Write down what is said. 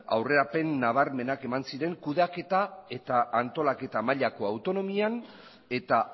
aurrerapen nabarmenak eman ziren kudeaketa eta antolaketa mailako autonomian eta